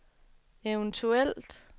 eventuelt